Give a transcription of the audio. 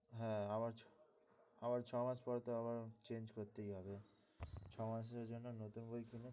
হ্যাঁ আবার আবার ছ মাস পর তো আবার change করতেই হবে ছয় মাসের জন্য নতুন বই কিনে,